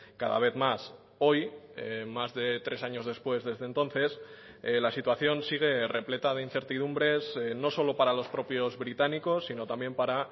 cada vez más hoy más de tres años después desde entonces la situación sigue repleta de incertidumbres no solo para los propios británicos sino también para